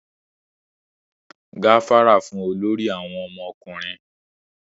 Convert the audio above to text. gafara fún olórí àwọn ọmọkùnrin!